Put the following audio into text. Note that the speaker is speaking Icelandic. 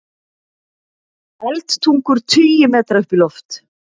Eldtungur tugi metra upp í loft